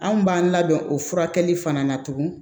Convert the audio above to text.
Anw b'an labɛn o furakɛli fana na tugun